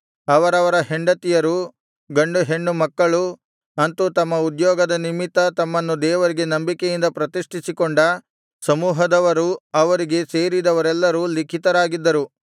ಅವರವರ ಹೆಂಡತಿಯರು ಗಂಡುಹೆಣ್ಣು ಮಕ್ಕಳು ಅಂತು ತಮ್ಮ ಉದ್ಯೋಗದ ನಿಮಿತ್ತ ತಮ್ಮನ್ನು ದೇವರಿಗೆ ನಂಬಿಕೆಯಿಂದ ಪ್ರತಿಷ್ಠಿಸಿಕೊಂಡ ಸಮೂಹದವರೂ ಅವರಿಗೆ ಸೇರಿದವರೆಲ್ಲರೂ ಲಿಖಿತರಾಗಿದ್ದರು